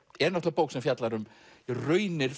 náttúrulega bók sem fjallar um raunir